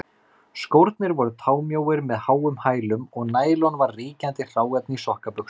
Skórnir voru támjóir með háum hælum, og nælon var ríkjandi hráefni í sokkabuxum.